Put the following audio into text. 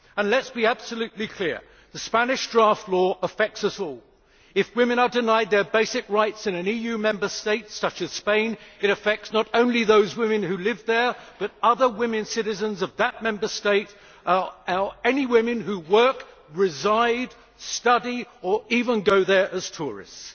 Let us be absolutely clear the Spanish draft law affects us all. If women are denied their basic rights in an EU Member State, such as Spain, it affects not only those women who live there but also other women citizens of that Member State or any women who work, reside, study or even go there as tourists.